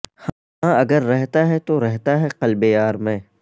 ہاں اگر رہتا ہے تو رہتا ہے قلب یار میں